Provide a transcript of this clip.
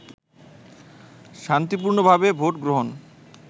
শান্তিপূর্ণভাবে ভোট গ্রহণ